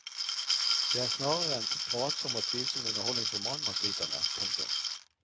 Det er snarere en pratsom og tvilsom underholdningsroman man sliter med. punktum